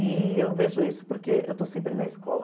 E eu vejo isso porque eu estou sempre na escola.